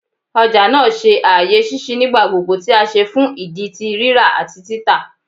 Ọja naa jẹ aaye ṣiṣi nigbagbogbo ti a ṣe fun idi ti rira ati tita